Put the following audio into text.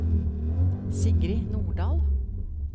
Sigrid Nordal